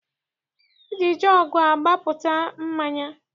E ji jọọgụ agbapụta mmanya.